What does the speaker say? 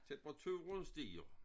Temperaturen stiger